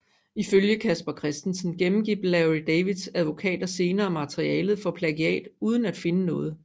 Ifølge Casper Christensen gennemgik Larry Davids advokater senere materialet for plagiat uden at finde noget